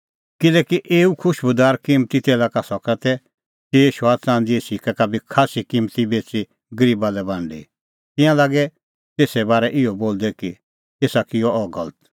किल्हैकि एऊ खुशबूदार किम्मती तेला सका तै चिई शौआ च़ंदीए सिक्कै का बी खास्सी किम्मती बेच़ी गरीबा लै बांडी तिंयां लागै तेसे बारै इहअ बोलदै कि एसा किअ अह गलत